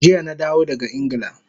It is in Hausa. Jiya na dawo daga Ingila